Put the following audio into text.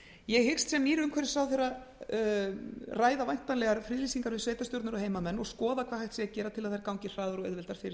ég hyggst sem nýr ráðherra umhverfismála ræða væntanlegar friðlýsingar við sveitarstjórnir og heimamenn og skoða hvað hægt sé að gera til að þær gangi hraðar og auðveldar fyrir